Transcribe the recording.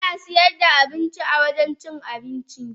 Ana sayar da abinci awurin cin abinci.